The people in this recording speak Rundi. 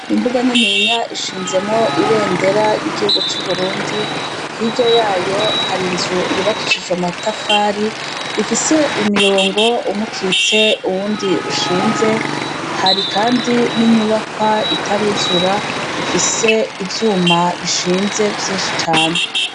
Imbuga nininya ishinzemwo ibendera y'igihugu c'uburundi hirya yayo hari nzu yubakishije matafari ifise imirongo umukitse uwundi ushinze hari, kandi n'inyubakwa itaruzura ifise ivyuma bishinze vyinshi cane.